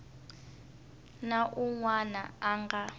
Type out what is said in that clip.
na un wana a nga